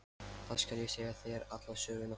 Þá skal ég segja þér alla söguna.